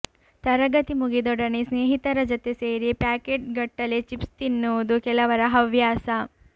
ತರಗತಿ ಮುಗಿದೊಡನೆ ಸ್ನೇಹಿತರ ಜತೆ ಸೇರಿ ಪ್ಯಾಕೆಟ್ಗಟ್ಟಲೆ ಚಿಪ್ಸ್ ತಿನ್ನುವುದು ಕೆಲವರ ಹವ್ಯಾಸ